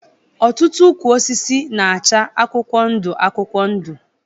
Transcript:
Ọtụtụ ukwụ osisi na-acha akwụkwọ ndu akwụkwọ ndu.